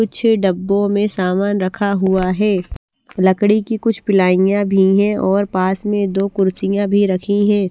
कुछ डब्बों में सामान रखा हुआ है लकड़ी की कुछ पिलाईयां भी है और पास में दो कुर्सियां भी रखी है।